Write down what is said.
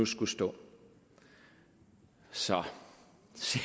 skulle stå så